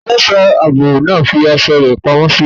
Ẹlẹ́ṣọ̀ ààbò náà fi aṣọ iṣẹ́ rẹ̀ pamọ́ sí ibi iṣẹ́.